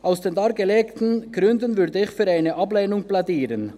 Aus den dargelegten Gründen würde ich für eine Ablehnung plädieren.